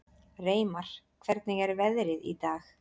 Reimar, hvernig er veðrið í dag?